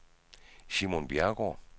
Simon Bjerregaard